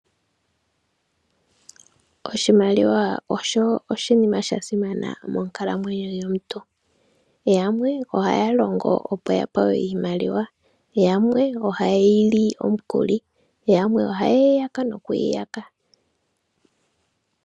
Oshimaliwa osho oshinima sha simana monkalamwenyo yomuntu. Yamwe ohaya longo opo ya pewe iimaliwa. Yamwe ohaye yi li omukuli. Yamwe ohaye yi yaka noku yi yaka.